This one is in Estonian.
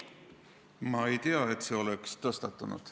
Ma ei tea, et see oleks tõstatunud.